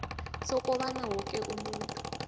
sokobana woke umuntu